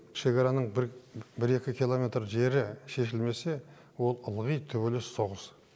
шекараның километр жері шешілмесе ол ылғи төбелес соғыс